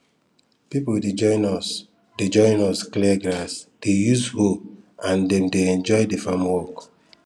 people dey join us dey join us clear grass dey use hoe and dem dey enjoy the farm work